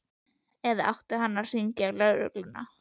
Eða átti hann að hringja í lögregluna?